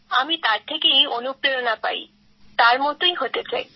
আমি তার থেকেই অনুপ্রেরণা পাই তার মতোই হতে চাই